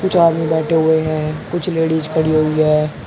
कुछ आदमी बैठे हुए हैं कुछ लेडिस खड़ी हुई हैं।